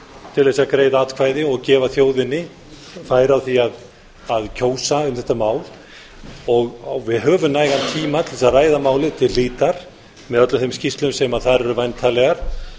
til að greiða atkvæði og gefa þjóðinni færi á því að kjósa um þetta mál við höfum nægan tíma til að ræða málið til hlítar með öllum þeim skýrslum sem þar eru væntanlegar